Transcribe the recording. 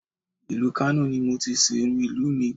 Ìlú Kano ni mo ti sìnrú ìlú mi